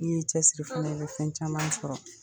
N' ye ni cɛ siri fana, i bɛ fɛn caman sɔrɔ.